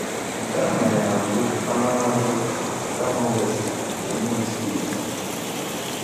Nke a mere na mbụ Amanato na Nkanu West nke Enugu steeti